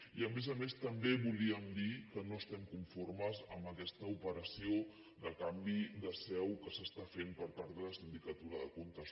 i a més a més també volíem dir que no estem conformes amb aquesta operació de canvi de seu que s’està fent per part de la sindicatura de comptes